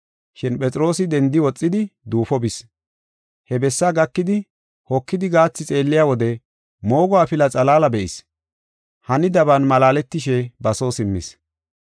Shin Phexroosi dendi woxidi duufo bis. He bessaa gakidi, hokidi gaathi xeelliya wode moogo afilaa xalaala be7is. Hanidaban malaaletishe ba soo simmis.